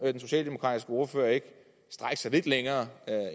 socialdemokratiske ordfører ikke strække sig lidt længere